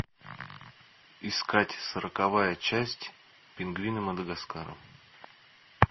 искать сороковая часть пингвины мадагаскара